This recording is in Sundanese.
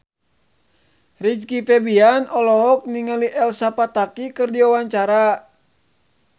Rizky Febian olohok ningali Elsa Pataky keur diwawancara